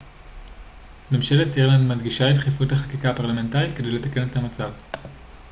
ממשלת אירלנד מדגישה את דחיפות החקיקה הפרלמנטרית כדי לתקן את המצב